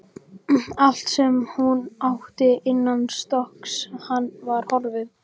Allt sem hún átti innanstokks var horfið.